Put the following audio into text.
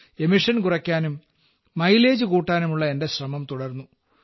emission കുറയ്ക്കാനും mileage കൂട്ടാനുമുള്ള എന്റെ ശ്രമം തുടർന്നു